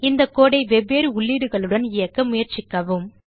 இந்த கோடு ஐ வெவ்வேறு உள்ளீடுகளுடன் இயக்க முயற்சிக்கவும்